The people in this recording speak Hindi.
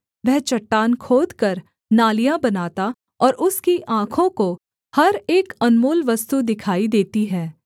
वह चट्टान खोदकर नालियाँ बनाता और उसकी आँखों को हर एक अनमोल वस्तु दिखाई देती है